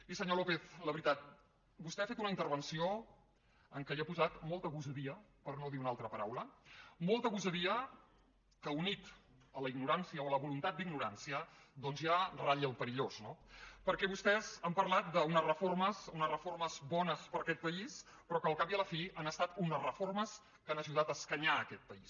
i senyor lópez la veritat vostè ha fet una intervenció en què ha posat molta gosadia per no dir una altra paraula molta gosadia que unida a la ignorància o a la voluntat d’ignorància doncs ja ratlla el perillós no perquè vostès han parlat d’unes reformes bones per a aquest país però que al cap i a la fi han estat unes reformes que han ajudat a escanyar aquest país